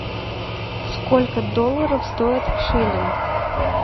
сколько долларов стоит шиллинг